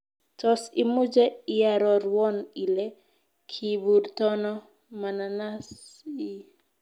Tos' imuche iarorwon ile kiiburtono mananas ii